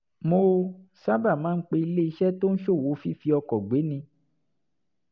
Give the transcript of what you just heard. mo sábà máa ń pe iléeṣẹ́ tó ń ṣòwò fífi ọkọ̀ gbéni